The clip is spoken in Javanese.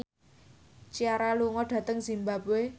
Ciara lunga dhateng zimbabwe